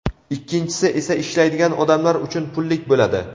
ikkinchisi esa ishlaydigan odamlar uchun pullik bo‘ladi.